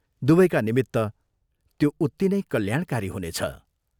दुवैका निमित्त त्यो उत्ति नै कल्याणकारी हुनेछ।